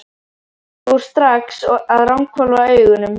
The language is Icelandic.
Ég fór strax að ranghvolfa augunum.